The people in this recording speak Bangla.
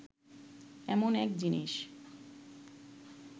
এমন এক জিনিস